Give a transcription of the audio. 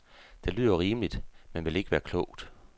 Det lyder rimeligt, men vil ikke være klogt.